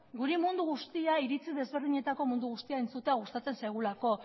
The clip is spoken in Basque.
guri mundu guztia iritzi desberdinetako mundu guztia entzutea gustatzen zaigulako